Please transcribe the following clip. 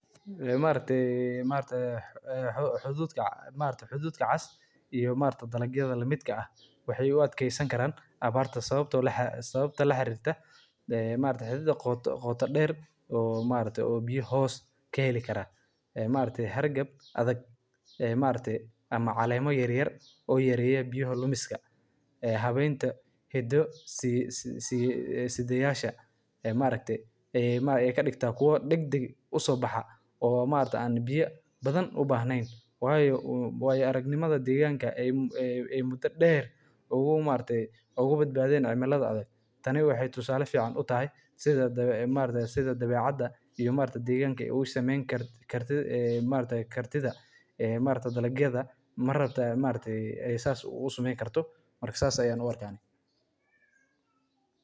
hadhuudhka cas iyo dalagyada lamidka aah wexey u adkesan karan abaarta sawabta la xarirta xididada qoto dher o biyo hoos ka heli kara, hargab adag ama calemo yaryar o yareyo biyo lumiska. habenta hido sidayasha aya ka dhigto kuwo dagdag uso baxa o biyo badan u bahnen wayo aragnimada deganka ey mudo dher ogu badbaden cimilada adag. tani wexey tusale fican u tahay sida iyo dabecada fican iyo kartida ogu samen karto. sidas ban u arka.